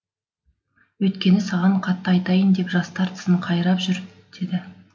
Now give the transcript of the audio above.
өйткені саған қатты айтайын деп жастар тісін қайрап жүр деді